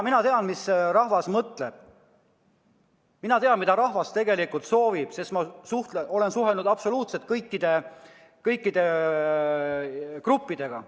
Mina tean, mida rahvas mõtleb, mina tean, mida rahvas tegelikult soovib, sest ma olen suhelnud absoluutselt kõikide gruppidega.